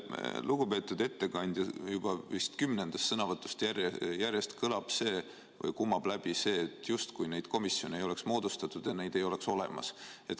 Lugupeetud ettekandja juba vist kümnendast sõnavõtust järjest kõlab, kumab läbi see, justkui neid komisjone ei oleks moodustatud ja neid ei oleks olemas.